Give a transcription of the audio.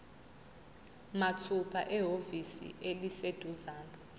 mathupha ehhovisi eliseduzane